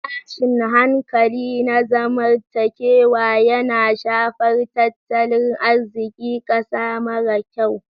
Tashin hankali na zamantakewa yana shafar tattalin arzikin ƙasa mara kyau.